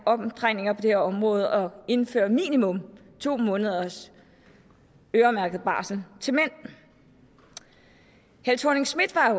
omdrejninger på det her område og indføre minimum to måneders øremærket barsel til mænd helle thorning schmidt var